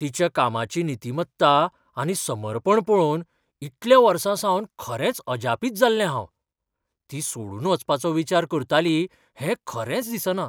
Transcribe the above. तिच्या कामाची नितीमत्ता आनी समर्पण पळोवन इतल्या वर्सांसावन खरेंच अजापीत जाल्लें हांव, ती सोडून वचपाचो विचार करताली हें खरेंच दिसना.